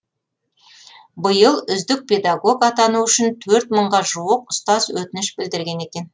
биыл үздік педагог атану үшін төрт мыңға жуық ұстаз өтініш білдірген екен